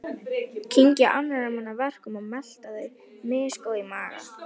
Kyngja annarra manna verkum og melta þau, misgóð í maga.